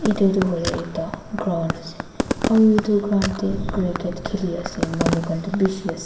itu tu hoile ekta ground ase aru itu ground teh cricket khili ase manu khan tu bishi ase.